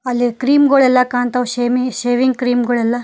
ಅಲ್ಲಿ ಕ್ರೀಮ್ ಗೋಲ ಎಲ್ಲಾ ಕಾಣ್ತಾವ್ ಸೇಮಿಂಗ್ ಶೇವಿಂಗ್ ಕ್ರೀಮ್ ಗೋಳ ಎಲ್ಲಾ.